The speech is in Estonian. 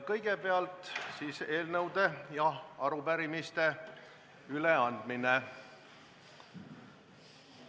Kõigepealt eelnõude ja arupärimiste üleandmine.